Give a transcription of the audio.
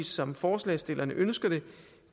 som forslagsstillerne ønsker det